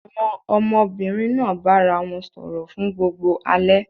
Àwọn ọmọbìnrin náà bára wọn sọ̀rọ̀ fún gbogbo alẹ́.